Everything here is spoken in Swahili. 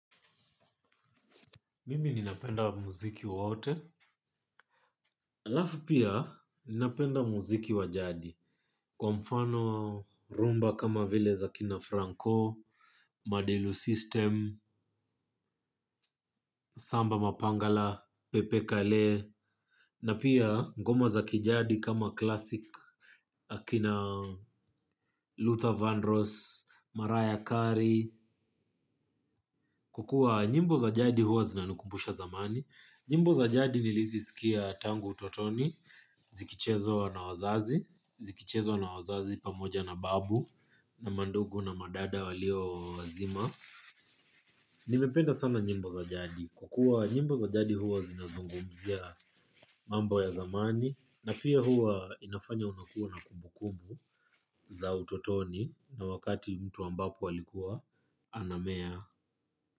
Mimi ninapenda muziki wote. Alafu pia ninapenda muziki wa jadi. Kwa mfano rumba kama vile za kina Franco, Madelu System, Samba Mapangala, Pepe Kale, na pia ngoma za kijadi kama classic akina Luther Van Ross, Maraya Kari. Kwa kua nyimbo za jadi huwa zinanikumbusha zamani. Nyimbo za jadi nilizisikia tangu utotoni, zikichezwa na wazazi pamoja na babu na mandugu na madada waliowazima. Ninapenda sana nyimbo za jadi kwa kua nyimbo za jadi huwa zinazungumzia mambo ya zamani, na pia huwa inafanya unakuwa na kumbu kumbu za utotoni na wakati mtu ambapo alikuwa anamea.